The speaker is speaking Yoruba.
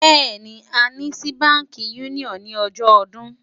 béèni, a ní sí bánkì unioni ní ojó ọdún